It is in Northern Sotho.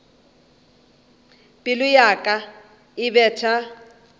pelo ya ka e betha